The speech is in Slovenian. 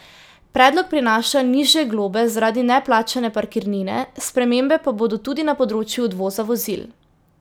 Predlog prinaša nižje globe zaradi neplačane parkirnine, spremembe pa bodo tudi na področju odvoza vozil.